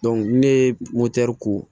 ni ne ye ko